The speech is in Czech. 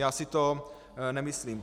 Já si to nemyslím.